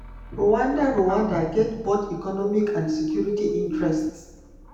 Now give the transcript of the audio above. rwanda rwanda get both economic and security interests.